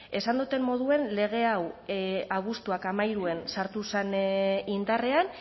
esan doten moduan lege hau abuztuaren hamairuan sartu zen indarrean